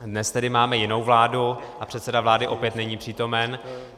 Dnes tedy máme jinou vládu a předseda vlády opět není přítomen.